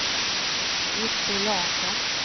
Otto Larsson